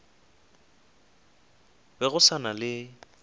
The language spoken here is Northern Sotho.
be go sa na le